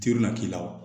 Teri na k'i la o